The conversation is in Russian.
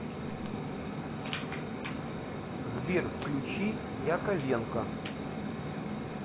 сбер включи яковенко